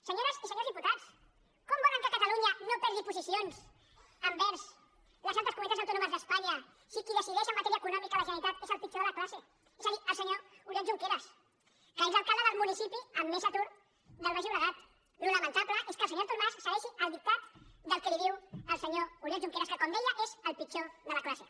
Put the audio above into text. senyores i senyors diputats com volen que catalunya no perdi posicions envers les altres comunitats autònomes d’espanya si qui decideix en matèria econòmica a la generalitat és el pitjor de la classe és a dir el senyor oriol junqueras que és l’alcalde del municipi amb més atur del baix llobregat el que és lamentable és que el senyor artur mas segueixi el dictat del que li diu el senyor oriol junqueras que com deia és el pitjor de la classe